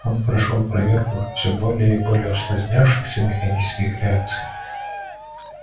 он прошёл проверку всё более и более усложнявшихся механических реакций